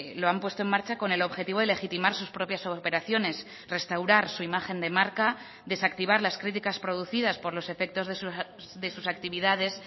lo han puesto en marcha con el objetivo de legitimar sus propias operaciones restaurar su imagen de marca desactivar las críticas producidas por los efectos de sus actividades